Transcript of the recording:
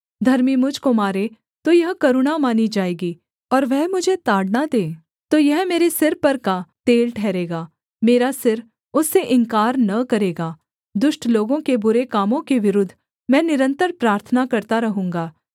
धर्मी मुझ को मारे तो यह करुणा मानी जाएगी और वह मुझे ताड़ना दे तो यह मेरे सिर पर का तेल ठहरेगा मेरा सिर उससे इन्कार न करेगा दुष्ट लोगों के बुरे कामों के विरुद्ध मैं निरन्तर प्रार्थना करता रहूँगा